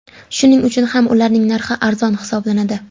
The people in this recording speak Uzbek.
Shuning uchun ham ularning narxi arzon hisoblanadi.